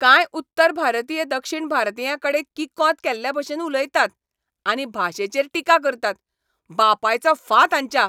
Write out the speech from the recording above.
कांय उत्तर भारतीय दक्षिण भारतीयांकडेन किकोंत केल्लेभशेन उलयतात आनी भाशेचेर टिका करतात. बापायचो फांत हांच्या!